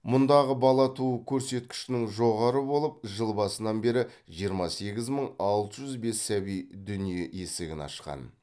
мұндағы бала туу көрсеткішінің жоғары болып жыл басынан бері жиырма сегіз мың алты жүз бес сәби дүниеге есігін ашқан